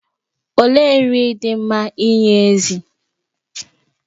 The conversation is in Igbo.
Olee nri dị mma inye ezì?